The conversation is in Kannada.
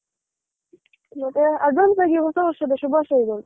ಮತ್ತೆ advance ಆಗಿ ಹೊಸ ವರ್ಷದ ಶುಭಾಶಯಗಳು.